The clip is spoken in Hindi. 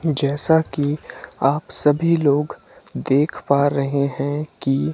जैसा की आप सभी लोग देख पा रहे हैं कि--